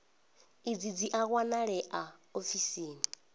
idzi dzi a wanalea ofisini